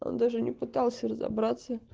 он даже не пытался разобраться